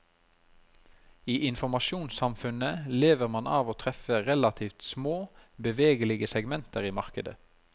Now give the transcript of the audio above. I informasjonssamfunnet lever man av å treffe relativt små, bevegelige segmenter i markedet.